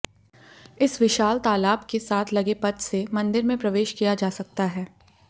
इस विशाल तालाब के साथ लगे पथ से मंदिर में प्रवेश किया जा सकता है